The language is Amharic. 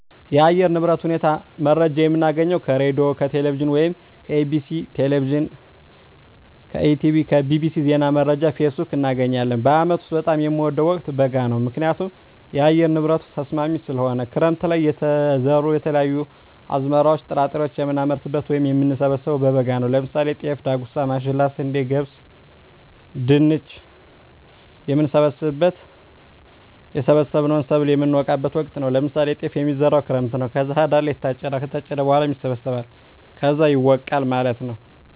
የአየር ንብረት ሁኔታ መረጃ የምናገኘው ከሬድዬ፣ ከቴሌቪዥን ወይም ከEBctv፣ ከETB tv፣ bbc፣ ዜና መረጃ፣ ፌስቡክ፣ እናገኛለን። በአመት ውስጥ በጣም የምወደው ወቅት በጋ ነው ምክንያቱም የአየር ንብረቱ ተስማሚ ስለሆነ፣ ክረምት ለይ የተዘሩ የተለያዩ አዝመራዎች ጥራጥሬዎችን የምናመርትበት ወይም የምንሰብበው በበጋ ነው ለምሳሌ ጤፍ፣ ዳጉሳ፣ ማሽላ፣ ስንዴ፣ ገብስ፣ ድንች፣ የምንሰበስብበት እና የሰበሰብነውን ሰብል የምነወቃበት ወቅት ነው ለምሳሌ ጤፍ የሚዘራው ክረምት ነው ከዛ ህዳር ላይ ይታጨዳል ከታጨደ በኋላ ይሰበሰባል ከዛ ይወቃል ማለት ነው።